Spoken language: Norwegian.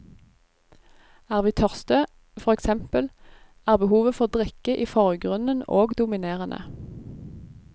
Er vi tørste, for eksempel, er behovet for drikke i forgrunnen og dominerende.